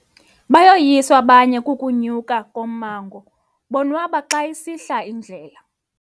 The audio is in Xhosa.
Bayoyiswa abanye ukunyuka ummango bonwaba xa isihla indlela.